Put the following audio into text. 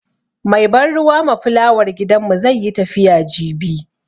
Mai ban ruwa ma fulawar gidanmu zai yi tafiya jibi.